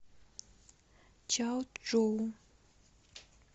чаочжоу